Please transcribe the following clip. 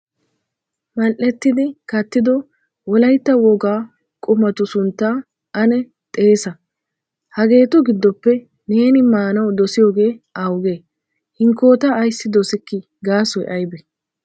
Mal"etidi kattido wolaytta wogaa qumatu suntta ane xeessa? Hageetu giddoppe neeni maanaw dossiyooge awuge? Hinkkoota ayssi dossikki gaasoy aybbe ?